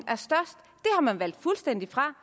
og man valgt fuldstændig fra